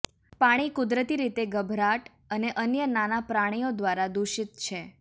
પાણી કુદરતી રીતે ગભરાટ અને અન્ય નાના પ્રાણીઓ દ્વારા દૂષિત છે